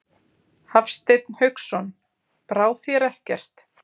Hafsteinn Hauksson: Brá þér ekkert?